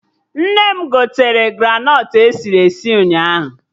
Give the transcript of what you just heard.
Nne m gotere granọt esiri esi ụnyaahụ